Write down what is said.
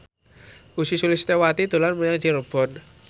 Ussy Sulistyawati dolan menyang Cirebon